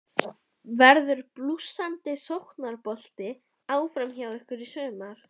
Verður blússandi sóknarbolti áfram hjá ykkur í sumar?